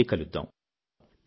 మళ్ళీ కలుద్దాం